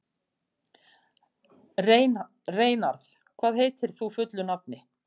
Reynarð, hvað heitir þú fullu nafni?